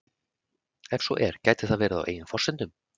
Ef svo er gæti það verið á eigin forsendum?